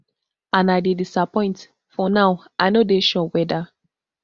and i dey disappoint for now i no dey sure weda